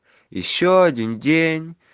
ещё один день